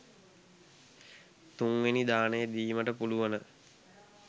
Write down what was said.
තුන්වෙනි දානය දීමට පුළුවන.